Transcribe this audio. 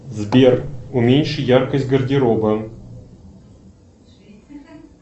сбер уменьши яркость гардероба